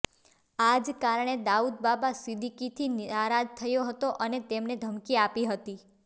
આ જ કારણે દાઉદ બાબા સિદ્દીકીથી નારાજ થયો હતો અને તેણે ધમકી આપી હતી